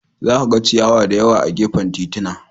Za ka ga ciyawa da yawa a gefen titina.